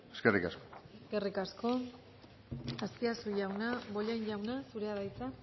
eskerrik asko eskerrik asko azpiazu jauna bollain jauna zurea da hitza